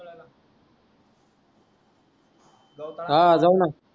हा जाऊना